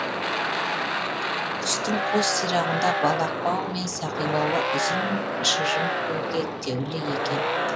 құстың қос сирағында балақ бау мен сақиналы ұзын шыжым ілгектеулі екен